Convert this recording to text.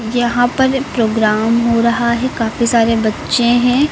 यहां पर प्रोग्राम हो रहा है काफी सारे बच्चे हैं।